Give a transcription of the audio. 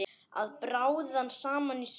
Að bráðna saman í sólinni